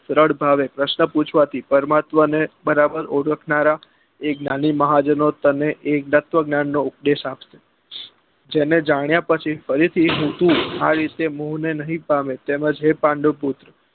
સરળ ભાવે પ્રશ્ન પૂછવા થી પરમાત્મા ને બરાબર ઓળખનારા એ જ્ઞાની મહાજનો તને એ તત્વ જ્ઞાન નો ઉપદેશ આપશે જેને જાણ્યા પછી ફરી થી તું આ રીતે મોહ ને નહિ પામે તેમજ હે પાંડુ પુત્ર